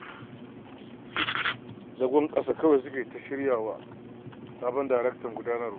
Zagon ƙasa kawai suke ta shirya wa sabon daraktan gudanawar.